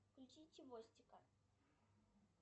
включи чевостика